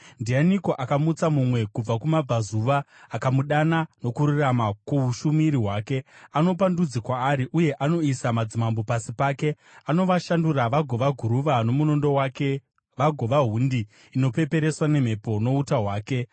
“Ndianiko akamutsa mumwe kubva kumabvazuva, akamudana nokururama kuushumiri hwake? Anopa ndudzi kwaari, uye anoisa madzimambo pasi pake. Anovashandura vagova guruva nomunondo wake, vagova hundi inopepereswa nemhepo nouta hwake.